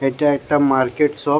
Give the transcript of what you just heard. এটা একটা market shop.